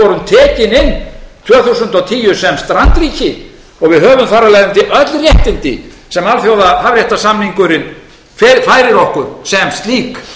þúsund og tíu sem strandríki og við höfum þar af leiðandi öll réttindi sem alþjóðahafréttarsamningurinn færir okkur sem slík